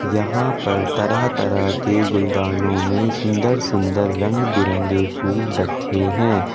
यहां पर तरह तरह के गुलदानों में सुंदर सुंदर रंग बिरंगे फूल रखे हैं।